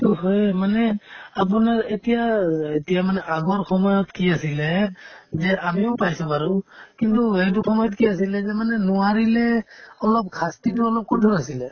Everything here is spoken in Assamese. হয়ে মানে আপোনাৰ এতিয়া অ এতিয়া মানে আগৰ সময়ত কি আছিলে যে আমিও পাইছো বাৰু কিন্তু সেইটো সময়ত কি আছিলে যে মানে নোৱাৰিলে অলপ শাস্তিতো অলপ কঠোৰ আছিলে